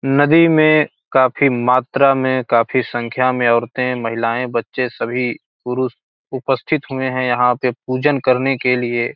नदी में काफ़ी मात्रा में काफ़ी संख्या में औरते महिलाएँ बच्चे सभी पुरुष उपस्थित हुए हैं यहाँ पे पूजन करने के लिए --